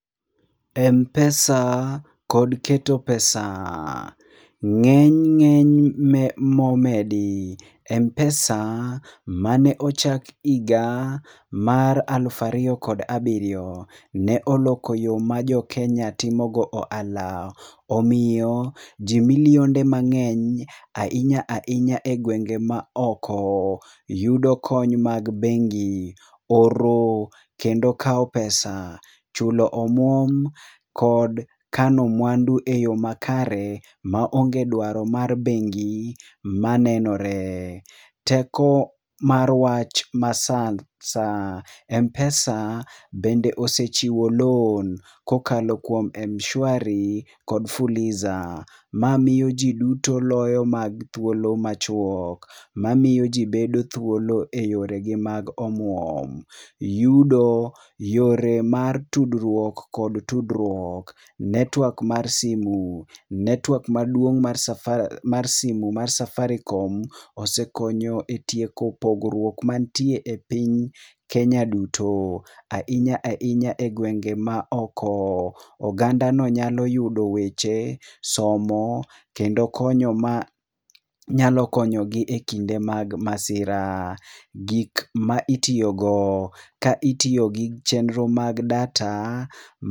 Mpesa kod keto pesa. Ng'eny ng'eny momedi. Mpesa mane ochak higa mar aluf ariyo kod abiryo ne oloko yo ma joKenya timo go ohala. Omiyo, ji milionde mang'eny, ahinya ahinya e gwenge ma oko, yudo kony mag bengi. Oro kendo kao pesa. Chulo omuom, kod kano mwandu e yo makare, ma onge dwaro mar bengi manenore. Teko mar wach ma sa. Mpesa bende osechiwo loan kokalo kuom Mshwari kod fuliza. Ma miyo ji duto loyo mag thuolo ma chuok, ma miyo ji bedo thuolo e yore gi mag omuom. Yudo yore mar tudruok kod tudruok. Network mar simu. Network maduong' mar simu mar safaricom osekonyo e tieko pogruok mantie e piny Kenya duto. Ahinya ahinya e gwenge ma oko. Oganda no nyalo yudo weche, somo, kendo konyo ma nyalo konyo gi e kinde mag masira. Gik ma itiyo go. Ka itiyo gi chenro mag data..